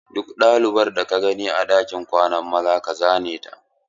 Duk ɗalibar da ka gani a ɗakin kwanan maza ka zane ta!